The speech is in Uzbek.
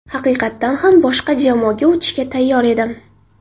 Haqiqatan ham boshqa jamoaga o‘tishga tayyor edim.